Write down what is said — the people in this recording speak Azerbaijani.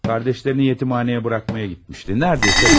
Qardaşlarını yetimxanəyə buraxmağa getmişdi, demək olar ki, dönər.